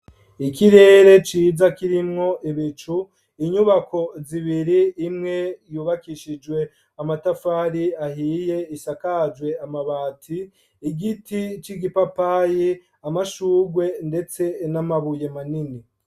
Ikirere ciza kirimwo ibicu inyubako zibiri imwe yubakishijwe amatafari ahiye, isakajwe amabati igiti c'igipapayi amashugwe ndetse n'amabuye manini.